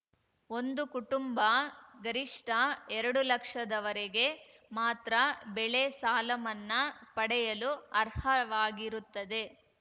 ಒಂದು ಕುಟುಂಬ ಗರಿಷ್ಠ ಎರಡು ಲಕ್ಷದವರೆಗೆ ಮಾತ್ರ ಬೆಳೆ ಸಾಲಮನ್ನಾ ಪಡೆಯಲು ಅರ್ಹವಾಗಿರುತ್ತದೆ